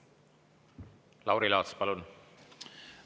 Lauri Laats, palun!